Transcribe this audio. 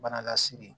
Bana lase